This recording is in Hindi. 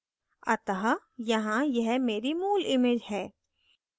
अतः यहाँ यह मेरी मूल image है